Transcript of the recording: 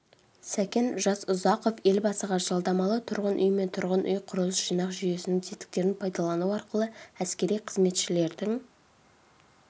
сәкен жасұзақов елбасыға жалдамалы тұрғын-үй мен тұрғын-үй құрылыс жинақ жүйесінің тетіктерін пайдалану арқылы әскери қызметшілердің